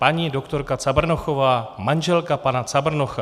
Paní doktorka Cabrnochová, manželka pana Cabrnocha.